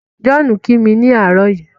John ki mi ni àárọ̀ yìí.